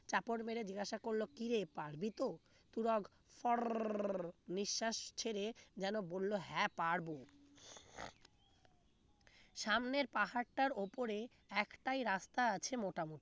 চাপড় মেরে জিজ্ঞাসা করল কিরে পারবি তো তুরাগ নিঃশ্বাস ছেড়ে যেন বলল হ্যাঁ পারবো সামনের পাহাড় টার উপরে একটাই রাস্তা আছে মোটামুটি